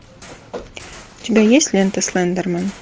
у тебя есть лента слендермен